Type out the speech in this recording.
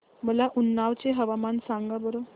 मला उन्नाव चे हवामान सांगा बरं